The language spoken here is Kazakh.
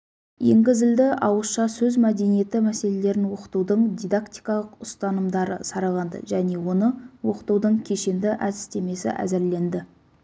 енгізілді ауызша сөз мәдениеті мәселелерін оқытудың дидактикалық ұстанымдары сараланды және оны оқытудың кешенді әдістемесі әзірленді